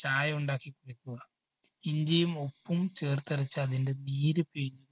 ചായ ഉണ്ടാക്കി കുടിക്കുക. ഇഞ്ചിയും ഉപ്പും ചേർത്തരച്ച അതിന്റെ നീര് പിഴിഞ്ഞ്